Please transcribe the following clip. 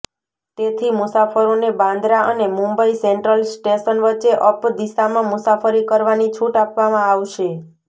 તેથી મુસાફરોને બાંદરા અને મુંબઇ સેન્ટ્રલ સ્ટેશન વચ્ચે અપ દિશામાં મુસાફરી કરવાની છૂટ આપવામાં આવશે